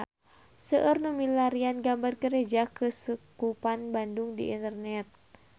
Seueur nu milarian gambar Gereja Keuskupan Bandung di internet